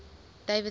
davidson